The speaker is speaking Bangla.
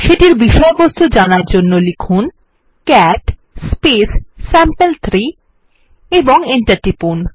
সেটির বিষয়বস্তু জানার জন্য লিখুন ক্যাট স্যাম্পল3 এবং এন্টার টিপুন